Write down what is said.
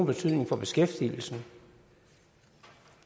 betydning for beskæftigelsen